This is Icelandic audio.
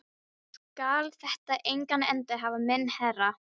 Skal þetta engan endi hafa minn herra?